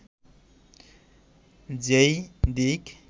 যে-ই দিক